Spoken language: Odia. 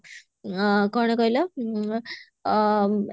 ଆ କଣ କହିଲ ଉଁ ଆ